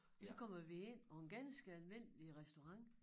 Og så kommer vi ind på en ganske almindelig restaurant